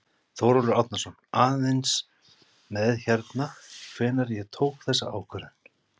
Þórólfur Árnason: Aðeins með hérna, hvenær ég tók þessa ákvörðun?